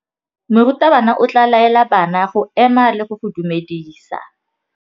Morutabana o tla laela bana go ema le go go dumedisa.